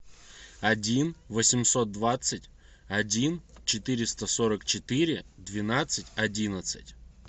один восемьсот двадцать один четыреста сорок четыре двенадцать одиннадцать